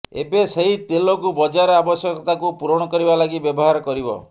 ଏବେ ସେହି ତେଲକୁ ବଜାର ଆବଶ୍ୟକତାକୁ ପୂରଣ କରିବା ଲାଗି ବ୍ୟବହାର କରିବ